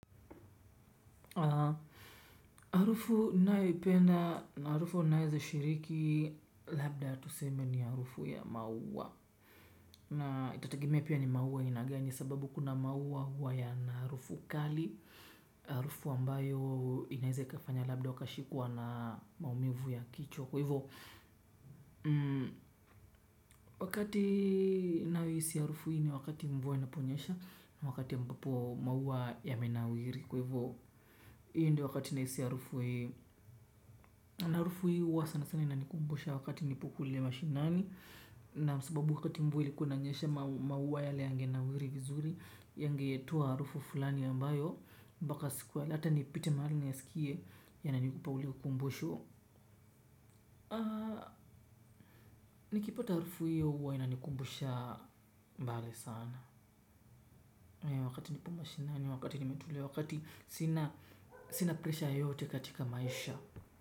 Arufu ninayoipenda na arufu naweza shiriki labda ya tuseme ni arufu ya maua. Na itategemea pia ni maua ya aina gani sababu kuna maua huwa yana arufu kali. Arufu ambayo inaweza kafanya labda ukashikwa na maumivu ya kichwa. Kwa hivo wakati nahisi arufu hii ni wakati mvua inaponyesha. Wakati ambapo maua yamenawiri kwa hivyo. Hii ndio wakati nahisi arufu hii. Na arufu hii huwa sana sana inanikumbusha wakati nipo kule mashinani. Na sababu wakati mvua ilikuwa inanyesha maua yale yangenawiri vizuri. Yangetoa arufu fulani ambayo. Mpaka siku. Hata nipite mahali niyasikie yananipa ule ukumbusho. Nikipata arufu hiyo huwa inanikumbusha mbali sana. Wakati nipo mashinani. Wakati nimetulia wakati sina presha yeyote katika maisha.